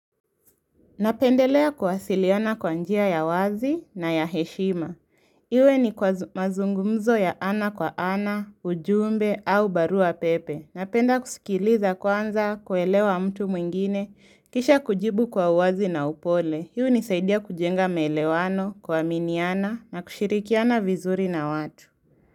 Napendelea kuwasiliana kwa njia ya wazi na ya heshima. Iwe ni kwa mazungumzo ya ana kwa ana, ujumbe au barua pepe. Napenda kusikiliza kwanza kuelewa mtu mwingine, kisha kujibu kwa wazi na upole. Hunisaidia kujenga maelewano kuaminiana na kushirikiana vizuri na watu.